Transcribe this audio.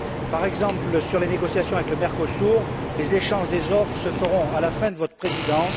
par exemple, sur les négociations avec le Mercosur, les échanges des offres se feront à la fin de votre présidence?